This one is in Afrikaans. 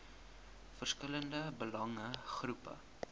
verskillende belange groepe